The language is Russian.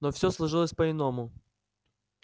но все сложилось по иному